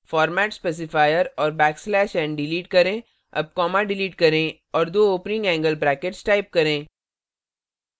format specifier और back slash n delete करें अब comma डिलीट करें और दो opening angle brackets type करें